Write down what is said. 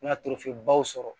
Ŋa baw sɔrɔ